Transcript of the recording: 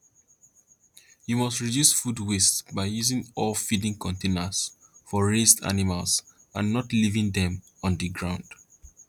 you must reduce food waste by using all feeding containers for raised animals and not leaving them on the the ground